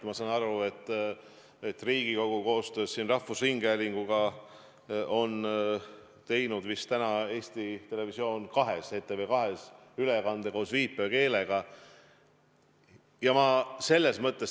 Ma saan aru, et Riigikogu koostöös rahvusringhäälinguga on teinud täna vist ETV2-s ülekande koos viipekeeletõlkega.